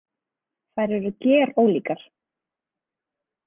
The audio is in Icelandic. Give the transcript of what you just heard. Þær eru gerólíkar.